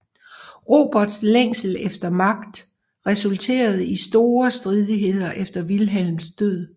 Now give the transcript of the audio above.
Roberts længsel efter magt resulterede i store stridigheder efter Vilhelms død